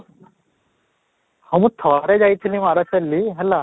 ହଁ, ମୁଁ ଠାରେ ଯାଇଥିଲି ମାରାଥାଲୀ ହେଲା